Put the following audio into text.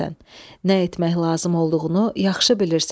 Nə etmək lazım olduğunu yaxşı bilirsən.